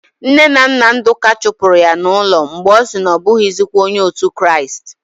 Nne na nna Ndụka chụpụrụ ya n'ụlọ mgbe ọ sị na ọ bụghịzikwa onye otu Kraịst.